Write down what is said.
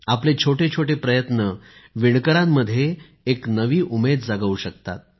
आपले छोटे छोटे प्रयत्न वीणकरांमध्ये एक नवी उमेद जागवू शकतात